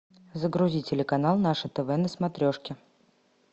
загрузи телеканал наше тв на смотрешке